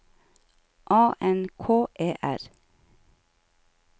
A N K E R